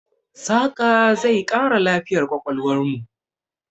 Saƙa zai ƙara lafiyar ƙwaƙwalwarmu.